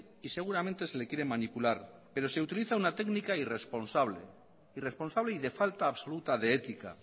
y seguramente se le quiere manipular pero se utiliza una técnica irresponsable irresponsable y de falta absoluta de ética